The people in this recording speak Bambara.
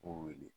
O wele